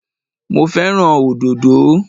Mo fẹ́ràn òdòdó